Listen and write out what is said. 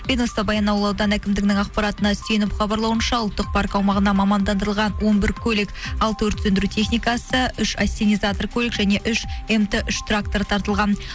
баянауыл ауданы әкімдігінің ақпаратына сүйеніп хабарлауынша ұлттық парк аумағанда мамандырылған он бір көлік алты өрт сөндіру техникасы үш ассенизатор көлік және үш мт үш тракторы тартылған